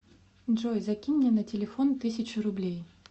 джой закинь мне на телефон тысячу рублей